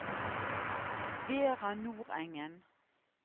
Vera Nordengen